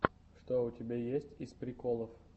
что у тебя есть из приколов